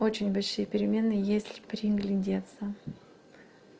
очень большие перемены если приглядеться